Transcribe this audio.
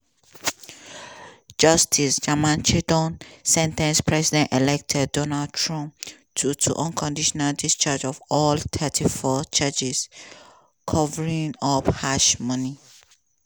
justice juan merchan don sen ten ce president-elect donald trump to to unconditional discharge of all 34 charges for covering up hush-money